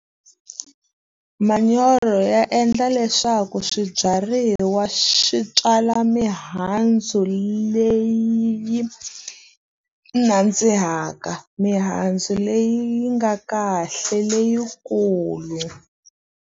Manyoro ya endla leswaku swibyariwa swi tswala mihandzu leyi yi nandzihaka. Mihandzu leyi yi nga kahle, leyikulu.